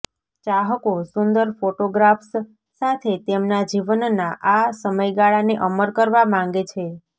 ચાહકો સુંદર ફોટોગ્રાફ્સ સાથે તેમના જીવનના આ સમયગાળાને અમર કરવા માંગે છે